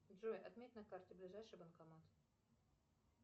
джой отметь на карте ближайший банкомат